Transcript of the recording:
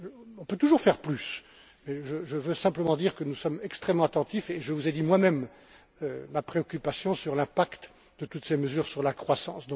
On peut toujours faire plus. Mais je veux simplement dire que nous sommes extrêmement attentifs et je vous ai dit moi même ma préoccupation quant à l'impact de toutes ces mesures sur la croissance.